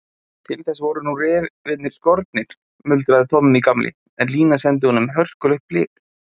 Til þess voru nú refirnir skornir, muldraði Tommi gamli, en Lína sendi honum hörkulegt blik.